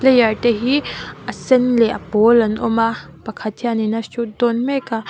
player te hi a sen leh a pawl an awm a pakhat hian a shoot dawn mek a.